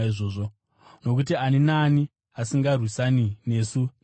nokuti ani naani asingarwisani nesu ndowedu.